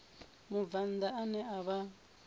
mubvann ḓa ane a vha